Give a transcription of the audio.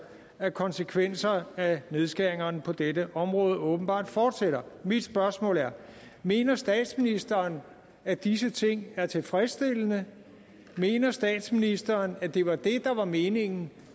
at konsekvenserne af nedskæringerne på dette område åbenbart fortsætter mine spørgsmål er mener statsministeren at disse ting er tilfredsstillende mener statsministeren at det var det der var meningen